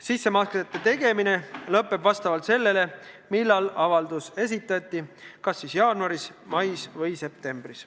Sissemaksete tegemine lõpeb vastavalt sellele, millal avaldus esitati, kas jaanuaris, mais või septembris.